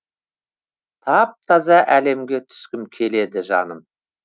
тап таза әлемге түскім келеді жаным